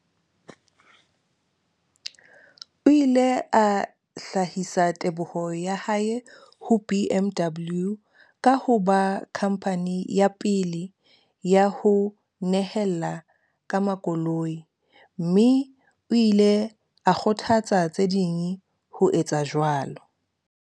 O ile a hlahisa teboho ya hae ho BMW ka ho ba khamphani ya pele ya ho nehela ka makoloi, mme o ile a kgothatsa tse ding ho etsa jwalo.